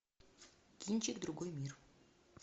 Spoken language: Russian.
кинчик другой мир